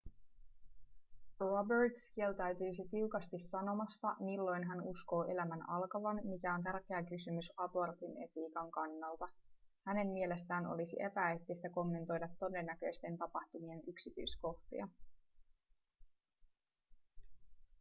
roberts kieltäytyi tiukasti sanomasta milloin hän uskoo elämän alkavan mikä on tärkeä kysymys abortin etiikan kannalta hänen mielestään olisi epäeettistä kommentoida todennäköisten tapahtumien yksityiskohtia